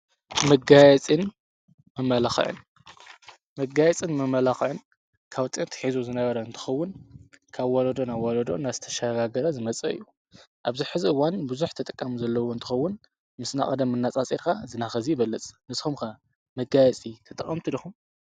መጋይጽን መመላኽዕን፣ መጋይጽን መመላኽዕን ካብ ጥንቲ ኣትሒዙ ዝነበረ እንትኸውን ካብ ዎሎዶን ናብ ዋሎዶ እናተሽጋገረ ዝመጸ እዩ። ኣብዚ ሕዚ እዋን ብዙኅ ተጠቃሙ ዘለዉ እንትኸውን ምስ ናቐደም እናፃጺርካ እዚ ናይኸእዚ ይበለጽ። ንስኩም ከ መጋየጺ ጠቐምቲ ድኹም?